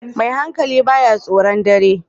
Mai hankali ba ya tsoron dare